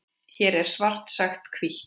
Hér er svart sagt hvítt.